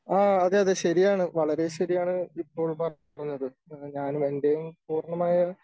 ആ അതെ അതെ ശരിയാണ് വളരെ ശരിയാണ് ഇപ്പോൾ പറഞ്ഞത്. ഞാനും എൻ്റെയും പൂർണമായ